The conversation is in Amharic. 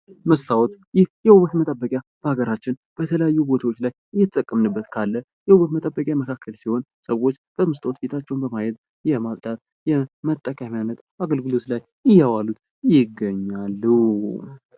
መስታውት ይህ የውበት መጠበቂያ በሀገራችን በተለያዩ ቦታዎች ላይ እየተጠቀምንበት ካለ የውበት መጠበቂያ መካከል ሲሆን ሰዎች በመስታወት ፊታቸውን በማየት የማጽዳት የመጠቀሚያነት አገልግሎት ላይ እያዋሉት ይገኛሉ።